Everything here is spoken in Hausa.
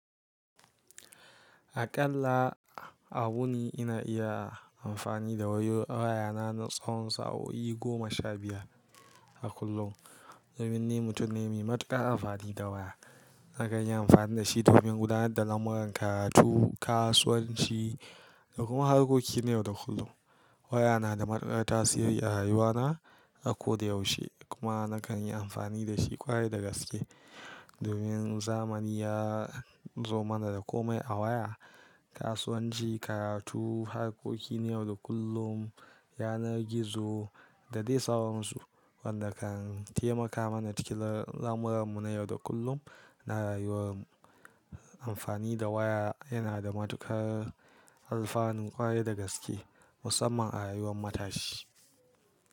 Aƙalla a wurin ina iya amfani da wayo waya na na tsawon sa'o'i goma sha biyar a kullum domin ni mutum ne mai matuƙar amfani da waya. Nakan yi amfani da shi domin gudanar da lamuran karatu, kasuwanci da kuma harkoki na yau da kullum. Waya na da matuƙar tasiri a rayuwa na a ko da yaushe kuma nakan yi amfani da shi ƙwarai da gaske domin zamani ya zo mana da komai a waya. Kasuwanci, karatu, harkoki na yau da kullum, yanar gizo da dai sauransu wanda kan taimaka mana cike lamuranmu na yau da kullum na rayuwar mu. Amfani da waya yana da matuƙar alfanun ƙwarai da gaske musamman a rayuwar matashi.